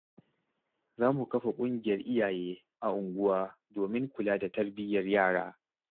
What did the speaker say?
Za mu kafa ƙungiyar iyaye a unguwa domin kula da tarbiyyar yara.